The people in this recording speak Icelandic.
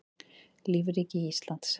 lífríki íslands